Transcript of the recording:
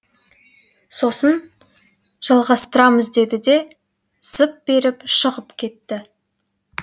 сосын жалғастырамыз деді де зып беріп шығып кетті